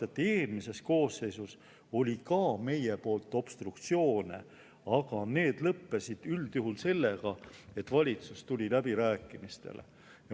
Eelmises koosseisus ka meie obstruktsiooni, aga see lõppes üldjuhul sellega, et valitsus tuli läbirääkimistele.